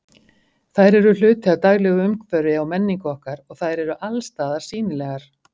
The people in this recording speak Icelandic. Þær eru hluti af daglegu umhverfi og menningu okkar og þær eru allsstaðar sýnilegar.